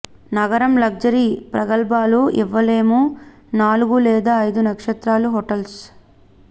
నగరం లగ్జరీ ప్రగల్భాలు ఇవ్వలేము నాలుగు లేదా ఐదు నక్షత్రాల హోటల్స్